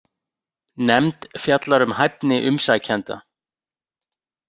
Nefnd fjallar um hæfni umsækjenda